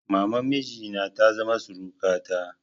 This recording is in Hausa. Maman miji na ta zama surukata.